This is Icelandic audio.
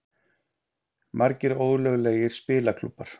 Margir ólöglegir spilaklúbbar